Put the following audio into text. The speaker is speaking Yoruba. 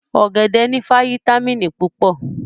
Ọ̀gẹ̀dẹ̀ ní fáyítámìnì púpọ̀